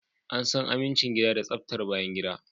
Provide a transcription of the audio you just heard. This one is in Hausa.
An san amincin gida da tsaftar bayangida